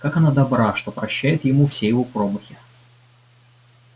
как она добра что прощает ему все его промахи